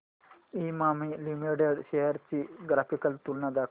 Emami limited shares ची graphical तुलना दाखव